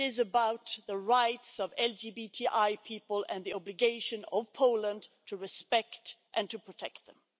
It is about the rights of LGBTI people and the obligation of Poland to respect and to protect them.